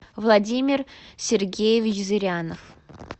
владимир сергеевич зырянов